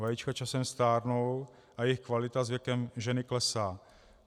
Vajíčka časem stárnou a jejich kvalita s věkem ženy klesá.